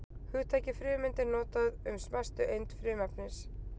hugtakið frumeind er notað um smæstu eind frumefnis